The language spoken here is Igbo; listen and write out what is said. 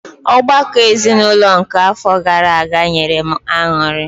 Ọgbakọ ezinụlọ nke àfọ gaara aga nyere m añụrị.